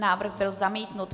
Návrh byl zamítnut.